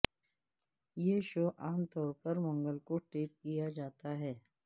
یہ شو عام طور پر منگل کو ٹیپ کیا جاتا ہے